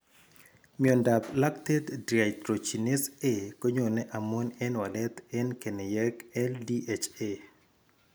Myondap lactate dehydrogenase A konyoone amun en walet en keneyeek LDHA.